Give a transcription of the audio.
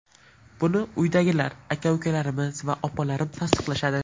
Buni uydagilar aka-ukalarimiz va opalarim tasdiqlashadi.